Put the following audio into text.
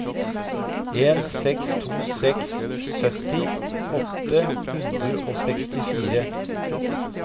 en seks to seks sytti åtte hundre og sekstifire